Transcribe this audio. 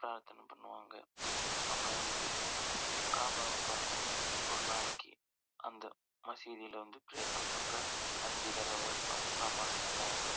பிரார்த்தனை பண்ணுவாங்க அங்க வந்து காபாவ பாத்து ஒரு நாளைக்கு அந்த மசூதில வந்து பிரேயர் பன்ற அப்போ அஞ்சு தடவ அவங்க நமாஸ் பண்ணுவாங்க.